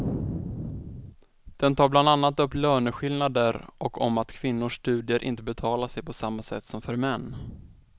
Den tar bland annat upp löneskillnader och om att kvinnors studier inte betalar sig på samma sätt som för män.